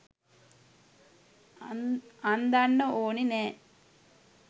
අන්දන්න ඕනේ නෑ.